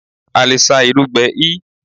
A lè sá irú gbẹ l